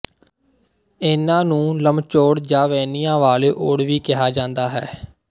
ਇਨ੍ਹਾਂ ਨੂੰ ਲਮਚੌੜ ਜਾਂ ਵਹਿਣੀਆਂ ਵਾਲੇ ਓਡ ਵੀ ਕਿਹਾ ਜਾਂਦਾ ਹੈ